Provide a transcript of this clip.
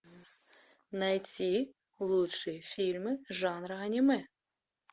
найти лучшие фильмы жанра аниме